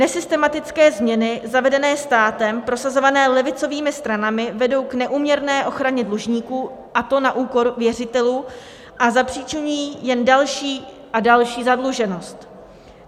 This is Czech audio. Nesystematické změny zavedené státem prosazované levicovými stranami vedou k neúměrné ochraně dlužníků, a to na úkor věřitelů, a zapříčiňují jen další a další zadluženost.